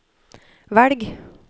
velg